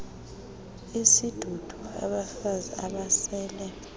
isidudu abafazi abasele